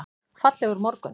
Fallegur morgun!